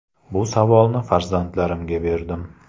Bu savolni farzandlarimga berdim.